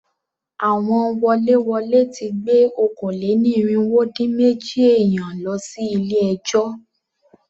Àwọn woléwolé ti gbé okòó-lé-ní-irínwó-dín-méjì èèyàn lọ sí ilé ẹjọ́.